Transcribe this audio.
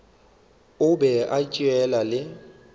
a be a tšea le